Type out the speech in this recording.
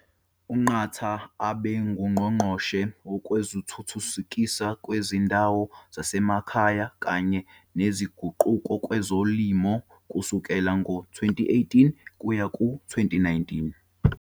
UNqatha ubenguNgqongqoshe Wezokuthuthukiswa Kwezindawo Zasemakhaya kanye Nezinguquko Kwezolimo kusukela ngo-2018 kuya ku-2019.